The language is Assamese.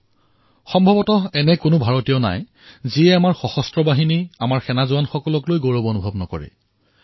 বোধহয় এনেকুৱা ভাৰতীয় কমেই ওলাব যি আমাৰ সৈন্যবাহিনীক লৈ গৌৰৱ নকৰিব